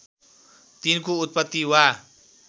तिनको उत्पत्ति वा